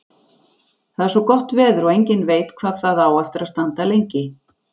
Það er svo gott veður og enginn veit hvað það á eftir að standa lengi.